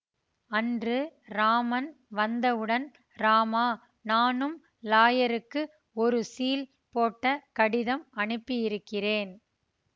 அன்று ராமன் வந்தவுடன் ராமா நானும் லாயருக்கு ஒரு ஸீல் போட்ட கடிதம் அனுப்பியிருக்கிறேன்